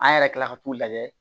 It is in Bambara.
An yɛrɛ kilala ka t'u lajɛ